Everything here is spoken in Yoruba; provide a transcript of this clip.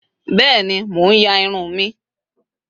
Beeni. Mo n ya irun mi